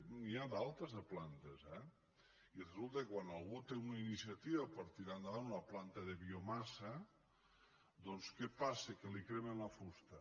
n’hi ha altres de plantes eh i resulta que quan algú té una iniciativa per tirar endavant una planta de biomassa doncs què passa que li cremen la fusta